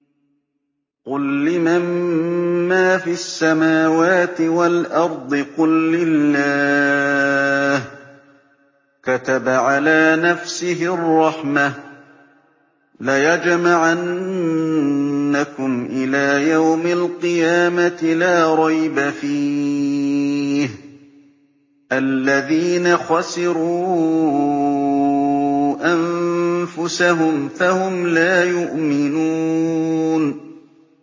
قُل لِّمَن مَّا فِي السَّمَاوَاتِ وَالْأَرْضِ ۖ قُل لِّلَّهِ ۚ كَتَبَ عَلَىٰ نَفْسِهِ الرَّحْمَةَ ۚ لَيَجْمَعَنَّكُمْ إِلَىٰ يَوْمِ الْقِيَامَةِ لَا رَيْبَ فِيهِ ۚ الَّذِينَ خَسِرُوا أَنفُسَهُمْ فَهُمْ لَا يُؤْمِنُونَ